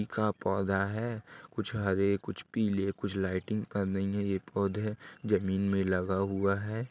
ए का पौधा है। कुछ हरे कुछ पीले कुछ लाइटिंग कर रही हैं ये पौधे। जमीन में लगा हुआ है।